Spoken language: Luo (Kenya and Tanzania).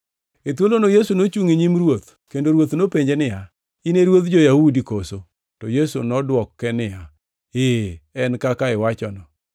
E thuolono Yesu nochungʼ e nyim ruoth, kendo ruoth nopenje niya, “In e ruodh jo-Yahudi koso?” To Yesu nodwoke niya, “Ee, en kaka iwachono.”